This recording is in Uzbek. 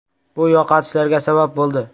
Bu yo‘qotishlarga sabab bo‘ldi.